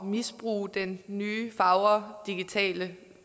misbruge den nye fagre digitale